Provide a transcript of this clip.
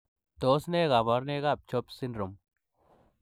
Tos nee koborunoikab CHOPS syndrome?